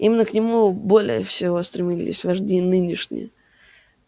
именно к нему более всего стремились вожди нынешние